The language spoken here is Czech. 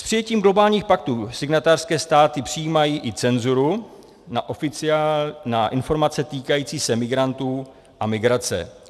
S přijetím globálních paktů signatářské státy přijímají i cenzuru na informace týkající se migrantů a migrace.